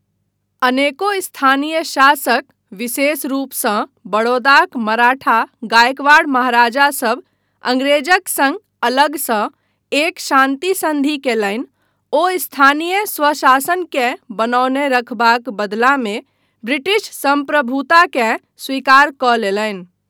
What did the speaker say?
अनेको स्थानीय शासक, विशेष रूपसँ बड़ौदाक मराठा गायकवाड़ महाराजा सभ अंग्रेजक सङ्ग अलगसँ एक शान्ति सन्धि कयलनि ओ स्थानीय स्वशासनकेँ बनौने रखबाक बदलामे ब्रिटिश सम्प्रभुताकेँ स्वीकार कऽ लेलनि।